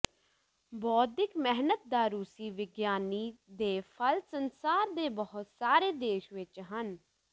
ਬੌਧਿਕ ਮਿਹਨਤ ਦਾ ਰੂਸੀ ਵਿਗਿਆਨੀ ਦੇ ਫਲ ਸੰਸਾਰ ਦੇ ਬਹੁਤ ਸਾਰੇ ਦੇਸ਼ ਵਿੱਚ ਹਨ